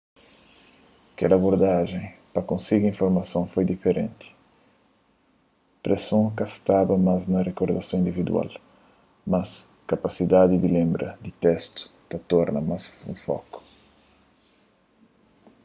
kel abordajen pa konsigi informason foi diferenti preson ka staba mas na rikordason individual mas kapasidadi di lenbra di testu torna más un foku